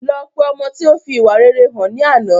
Lọ pe ọmọ tí ó fi ìwà rere hàn ní àná